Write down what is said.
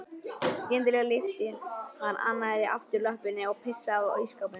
Skyndilega lyfti hann annarri afturlöppinni og pissaði á ísskápinn.